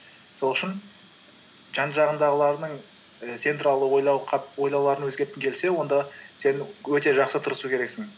сол үшін жан жағындағыларыңның і сен туралы ойлауларын өзгерткің келсе онда сен өте жақсы тырысу керексің